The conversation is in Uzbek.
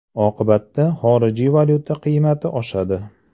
Oqibatda xorijiy valyuta qiymati oshadi.